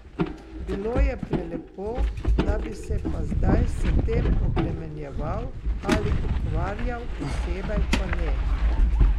Bilo je prelepo, da bi se pa zdaj s tem obremenjeval ali ukvarjal posebej pa ne.